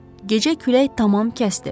Gecə külək tamam kəsdi.